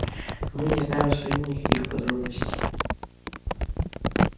но мы не знаем абсолютно никаких подробностей